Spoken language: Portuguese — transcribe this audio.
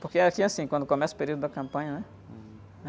Porque aqui é assim, quando começa o período da campanha, né?hum.